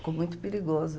Ficou muito perigoso.